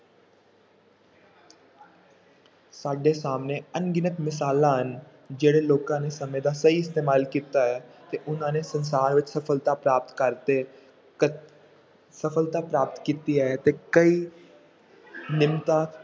ਸਾਡੇ ਸਾਹਮਣੇ ਅਣਗਿਣਤ ਮਿਸਾਲਾਂ ਹਨ, ਜਿਹੜੇ ਲੋਕਾਂ ਨੇ ਸਮੇਂ ਦਾ ਸਹੀ ਇਸਤੇਮਾਲ ਕੀਤਾ ਹੈ ਤੇ ਉਹਨਾਂ ਨੇ ਸੰਸਾਰ ਵਿੱਚ ਸਫ਼ਲਤਾ ਪ੍ਰਾਪਤ ਕਰਕੇ ਕ~ ਸਫ਼ਲਤਾ ਪ੍ਰਾਪਤ ਕੀਤੀ ਹੈ ਤੇ ਕਈ